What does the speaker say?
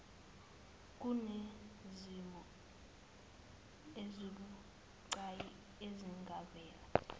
kunezimo ezibucayi ezingavela